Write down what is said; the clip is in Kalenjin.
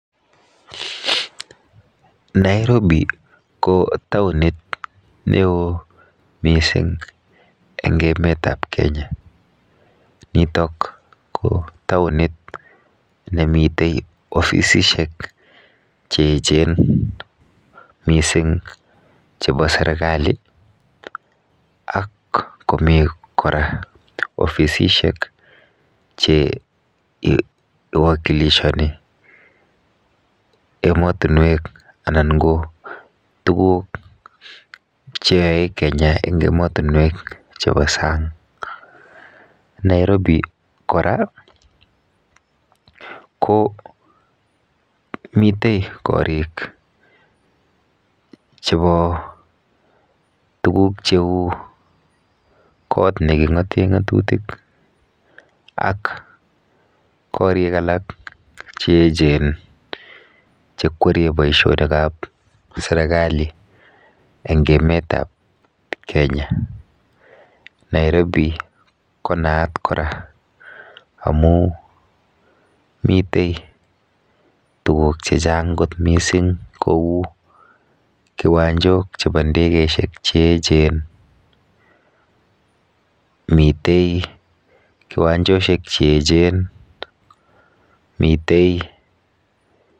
Nairobi ko taonit ne oo missing' eng' emet ap Kenya. Nitok ko taonit nemitei ofisishek che echen missing' chepo serikali ako mi kora ofisishek che iwakilishani ematunwek anan ko tuguk che yae Kenya eng' ematinwek chepo sang'. Ko Nairobi kora ko mitei koriik chepo tuguk che u kot ne king'ate ng'atutik ak kariik alak che echen che kwerie poishonik ap serikali eng' emet ap Kenya. Nairobi ko baat kora amun mitei tuguk che chang' kou kiwanchok chepo ndegeishek che echen, mitei kiwanchoshek che echen.